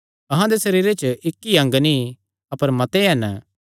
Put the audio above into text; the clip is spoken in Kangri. अहां दे सरीरे च इक्क ई अंग नीं अपर मते हन